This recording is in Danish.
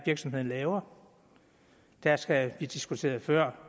virksomheden laver der skal vi diskuterede før